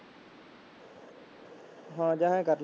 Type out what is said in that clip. ਹਾਂ ਜਾਂ ਆਏਂ ਕਰ